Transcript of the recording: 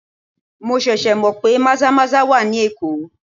Mo ṣẹ̀ṣẹ̀ mọ pé maza-maza wà ní Èkó.